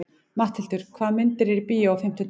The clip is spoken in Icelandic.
Matthildur, hvaða myndir eru í bíó á fimmtudaginn?